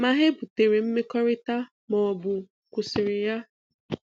Ma ha ebutere mmekọrịta ma ọbụ kwụsịrị ya.